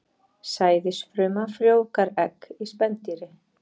Sæðisfruma frjóvgar egg í spendýri.